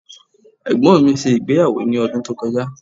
Ẹ̀gbọ́n mi ṣe ìgbéyàwó ní ọdún tó kọjá.